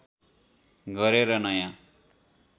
गरेर नयाँ